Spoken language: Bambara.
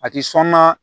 A ti sɔn na